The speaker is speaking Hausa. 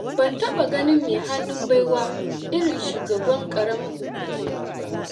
Ban taɓa ganin mai hannun baiwa irin shugaban ƙaramar hukumarku ba.